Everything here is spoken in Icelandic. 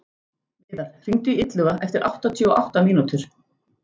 Viðar, hringdu í Illuga eftir áttatíu og átta mínútur.